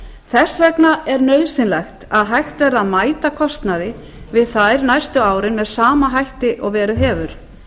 þess vegna er nauðsynlegt að hægt verði að mæta kostnaði við þær næstu árin með sama hætti og verið hefur